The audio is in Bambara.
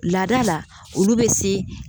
Lada la olu bɛ se